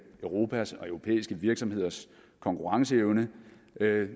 europas og europæiske virksomheders konkurrenceevne